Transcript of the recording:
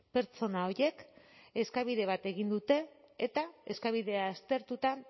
pertsona horiek eskabide bat egin dute eta eskabidea aztertuta